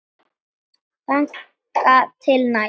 Þangað til næst.